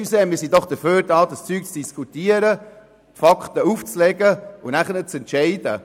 Entschuldigung, aber wir sind doch hierhergekommen, um über solche Dinge zu diskutieren, Fakten aufzuzeigen und dann zu entscheiden.